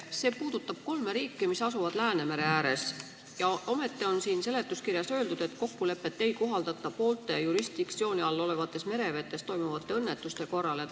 See puudutab kolme riiki, mis asuvad Läänemere ääres, ja ometi on siin seletuskirjas öeldud, et kokkulepet ei kohaldata poolte jurisdiktsiooni all olevates merevetes toimuvate õnnetuste korral.